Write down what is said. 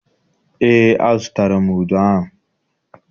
Eé, azụtara m udu ahụ.